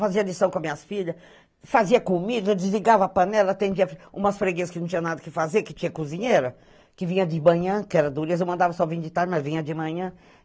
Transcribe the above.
Fazia lição com as minhas filhas, fazia comida, desligava a panela, atendia umas freguesas que não tinha nada o que fazer, que tinha cozinheira, que vinha de manhã, que era dureza, eu mandava só vim de tarde, mas vinha de manhã.